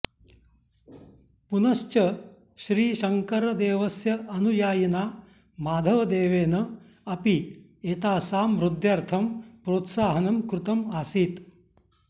पुनश्च श्रीशङ्करदेवस्य अनुयायिना माधवदेवेन अपि एतासां वृद्ध्यर्थं प्रोत्साहनं कृतम् आसीत्